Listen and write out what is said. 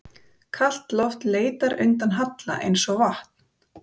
Kalt loft leitar undan halla eins og vatn.